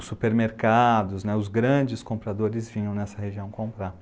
Os supermercados né, os grandes compradores vinham nessa região comprar.